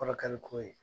Kɔrɔ kɛ ni ko ye